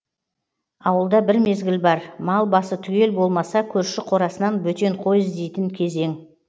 ауылда бір мезгіл бар мал басы түгел болмаса көрші қорасынан бөтен қой іздейтін кезең